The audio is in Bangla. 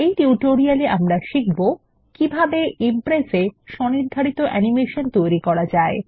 এই টিউটোরিয়াল এ আমরা শিখবো কিভাবে ইমপ্রেস এ স্বনির্ধারিত অ্যানিমেশন তৈরী করা যায়